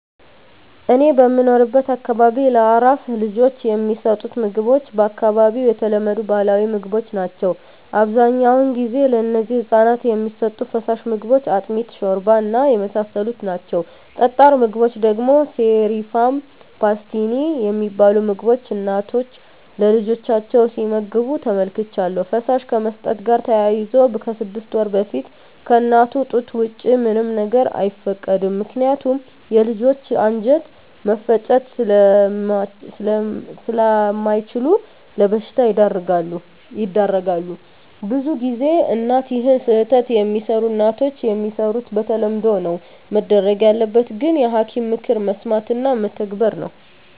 እኔ በምኖርበት አካባቢ ለአራስ ልጆች የሚሠጡት ምግቦች በአካባቢው የተለመዱ ባህላዊ ምግቦች ናቸው አብዛኛውን ጊዜ ለነዚህ ህፃናት የሚሠጡ ፋሳሽ ምግቦች አጥሚት ሾርባ እና የመሳሰሉት ናቸው ጠጣር ምግቦች ደግሞ ሴሪፍም ፓስቲኒ የሚባሉ ምግቦች እናቶች ለልጆቻቸው ሲመግብ ተመልክቻለሁ ፈሳሽ ከመስጠት ጋር ተያይዞ ከስድስት ወር በፊት ከእናቱ ጡት ወጪ ምንም ነገር አይፈቀድም ምከንያቱም የልጆች አንጀት መፍጨት ስላምችሉ ለበሽታ ይዳረጋሉ። ብዙ ጊዜ እናት ይህን ስህተት የሚሰሩ እናቶች የሚሰሩት በተለምዶ ነው መደረግ ያለበት ግን የሐኪም ምክር መስማት እና መተግበር ነው።